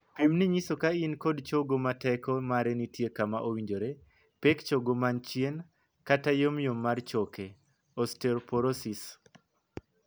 Pimnii nyiso ka in kod chogo ma teko mare nitie kama owinjore, pek chogo man chien, kata yomyom mar choke ('osteoporosis').